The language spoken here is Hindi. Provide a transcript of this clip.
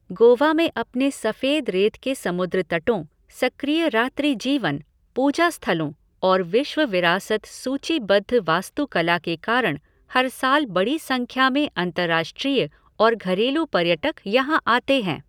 गोवा में अपने सफेद रेत के समुद्र तटों, सक्रिय रात्रि जीवन, पूजा स्थलों और विश्व विरासत सूचीबद्ध वास्तुकला के कारण हर साल बड़ी संख्या में अंतर्राष्ट्रीय और घरेलू पर्यटक यहाँ आते हैं।